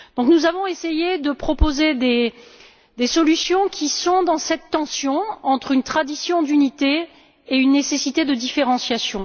Nous avons essayé de proposer des solutions qui sont dans cette tension entre une tradition d'unité et une nécessité de différenciation.